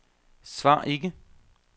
svar ikke